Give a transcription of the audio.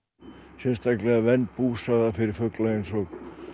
sérstaklega vernd búsvæða fyrir fugla eins og